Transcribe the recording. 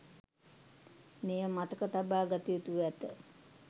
මෙය මතක තබා ගත යුතුව ඇත.